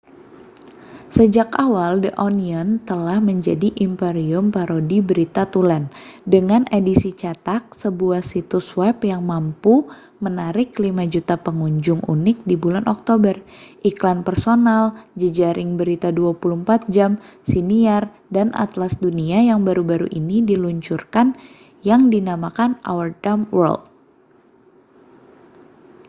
sejak awal the onion telah menjadi imperium parodi berita tulen dengan edisi cetak sebuah situs web yang mampu menarik 5.000.000 pengunjung unik di bulan oktober iklan personal jejaring berita 24 jam siniar dan atlas dunia yang baru-baru ini diluncurkan yang dinamakan our dumb world